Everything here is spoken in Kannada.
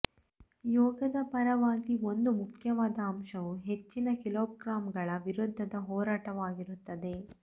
ಯೋಗದ ಪರವಾಗಿ ಒಂದು ಮುಖ್ಯವಾದ ಅಂಶವು ಹೆಚ್ಚಿನ ಕಿಲೋಗ್ರಾಮ್ಗಳ ವಿರುದ್ಧದ ಹೋರಾಟವಾಗಿರುತ್ತದೆ